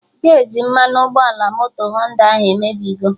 Geji mmanụ ụgbọala moto Họnda ahụ emebigo